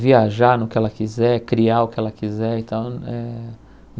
viajar no que ela quiser, criar o que ela quiser. E tal eh